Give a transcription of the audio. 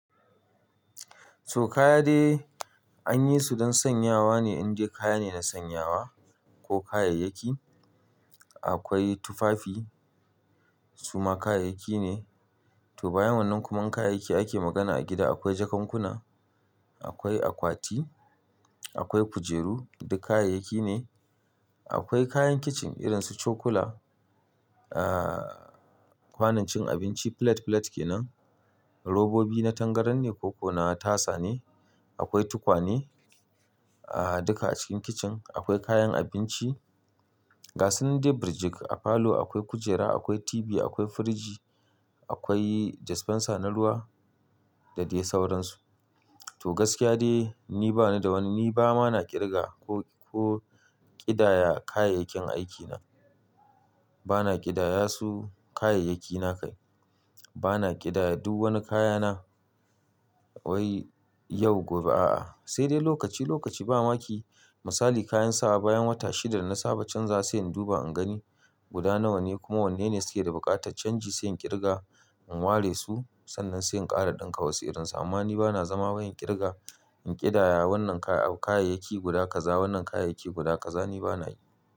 To kaya dai an yi su don sanyawa ne, in ji kaya ne na sanyawa ko kayayyaki. Akwai tufafi, suma kayayyaki ne. To bayan wannan kuma kayayyaki ake magana a gida. Akwai jakankuna, akwai akwati, akwai kujeru, duk kayayyaki ne. Akwai kayan kicin irin su cokula, ah kwanon cin abinci, filet-filet ke nan. Robobi na tangaran ne ko ko na tasa ne. Akwai tukwane, ah duka a cikin kicin. Akwai kayan abinci. Ga su nan dai birjik a falo akwai kujera, akwai TV, akwai firiji, akwai dispenser na ruwa da dai sauransu. To gaskiya dai ni bana da wani, ni ba ma na ƙirga ko, ko ƙidaya kayayyakin aikina. Bana ƙidaya su kayayyakina kai. Bana ƙidaya duk wani kayana wai yau gobe, a'a. Sai dai lokaci lokaci ba ma ki misali kayan sawa bayan wata shida na saba can za sai in duba in gani guda nawa ne kuma wanne ne suke da buƙatar canji sai in ƙirga in ware su sannan sai in ƙara ɗinka wasu irin su. Amma ni bana zama wurin ƙirga in ƙidaya wannan kay-kayayyaki guda kaza, wannan kayayyaki guda kaza ni bana yi.